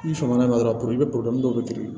Ni faamuya dɔrɔn dɔw bɛ kiiri